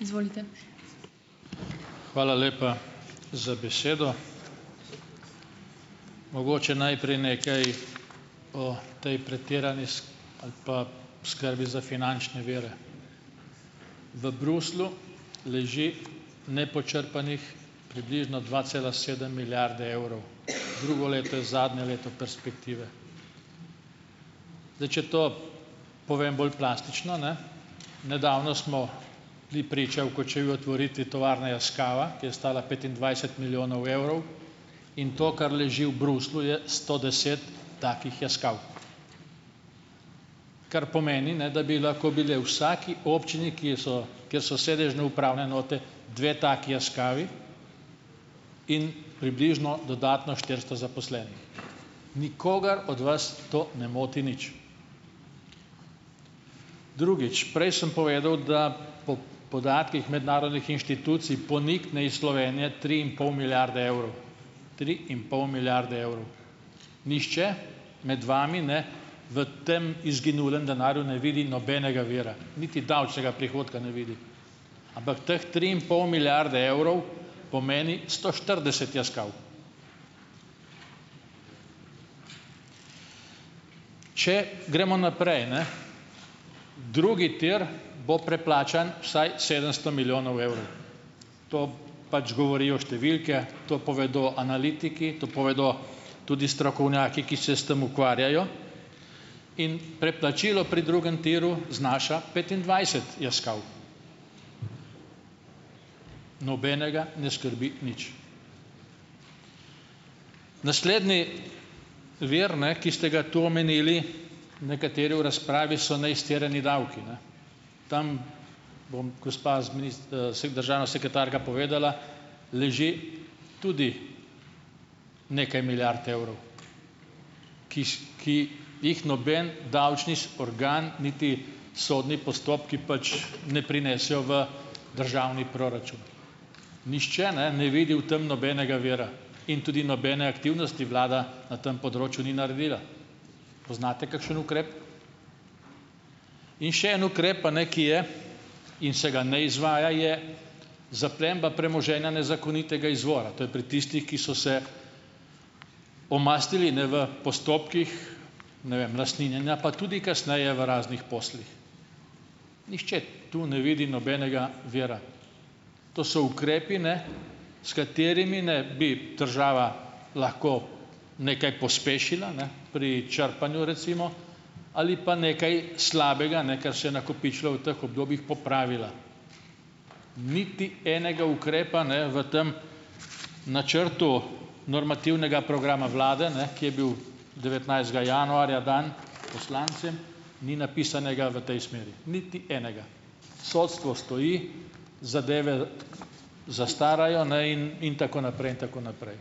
Izvolite. Hvala lepa z besedo. Mogoče najprej nekaj o potem pretirani ali pa skrbi za finančne vire. V Bruslju leži nepočrpanih približno dva cela sedem milijarde evrov, drugo leto je zadnje leto perspektive. Zdaj, če to povem bolj plastično, ne, nedavno smo bili priča v Kočevju otvoritvi tovarne Yaskawa, ki je stala petindvajset milijonov evrov, in to kar leži v Bruslju je sto deset takih Yaskaw, kar pomeni, ne, da bi lahko bile vsaki občini, ki so kje so sedežne uprave noter, dve taki Yaskawi in približno dodatno štiristo zaposlenih, nikogar od vas to ne moti nič. Drugič, prej sem povedal, da po podatkih mednarodnih inštitucij ponikne iz Slovenije tri in pol milijarde evrov, tri in pol milijarde evrov, nihče med vami ne v tem izginulem denarju ne vidi nobenega vira, niti davčnega prihodka ne vidi ampak teh tri in pol milijarde evrov pomeni sto štirideset Yaskaw, če gremo naprej, ne, drugi tir bo preplačan vsaj sedemsto milijonov evrov, to pač govorijo številke, to povedo analitiki, to povedo tudi strokovnjaki, ki se s tem ukvarjajo, in predplačilo pri drugem tiru znaša petindvajset Yaskaw, nobenega ne skrbi nič, naslednji vir, ne, ki ste ga tu omenili nekateri v razpravi, so neizterjani davki, ne, tam, bom gospa z sh državna sekretarka povedala, leži tudi nekaj milijard evrov, ki jih noben davčni organ niti sodni postopki pač ne prinesejo v državni proračun, nihče ne ne vidi v tem nobenega vira in tudi nobene aktivnosti vlada na tem področju ni naredila, poznate kakšen ukrep, in še en ukrep, pa ne, ki je in se ga ne izvaja, je zaplemba premoženja nezakonitega izvora, to je pri tistih, ki so se pomastili, ne, v postopkih ne vem lastninjenja pa tudi kasneje v raznih poslih, nihče to ne vidi nobenega vira, to so ukrepi, ne, s katerimi, ne, bi država lahko nekaj pospešila, ne, pri črpanju recimo ali pa nekaj slabega, ne, ker se je nakopičilo v teh obdobjih, popravila, niti enega ukrepa ne v tem načrtu normativnega programa vlade, ne, ki je bil devetnajstega januarja dan, poslanci, ni napisanega v tej smeri niti enega, sodstvo stoji, zadeve zastarajo, ne, in in tako naprej in tako naprej,